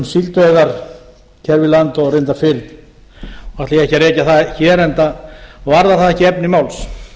síldveiðar hér við land og reyndar fyrr og ætla ég ekki að rekja það hér enda varðar það ekki efni máls